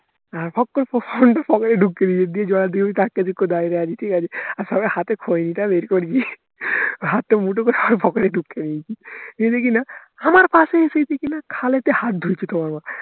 আর ফক করে phone টা ঢুকিয়ে দিয়েছি দিয়ে জলের দিকে আমি তাকিয়ে আছি কোথায় রে আছি ঠিকাছে আর সবে হাতে খৈনি টা বের করেছি হাতটা মুঠো করে আমার পকেটে ঢুকিয়ে দিয়েছি দেখি কিনা আমার পাশেই এসে কিনা খালেতে হাত ঢুকছে তোমার মা